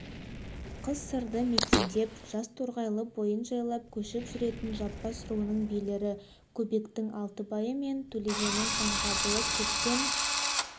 қыс сырды мекендеп жаз торғай бойын жайлап көшіп жүретін жаппас руының билері көбектің алтыбайы мен төлегеннің жаңғабылы көптен